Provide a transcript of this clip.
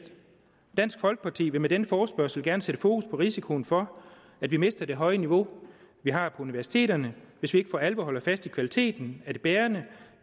dansk folkeparti vil med denne forespørgsel gerne sætte fokus på risikoen for at vi mister det høje niveau vi har på universiteterne hvis vi ikke for alvor holder fast i at kvaliteten er det bærende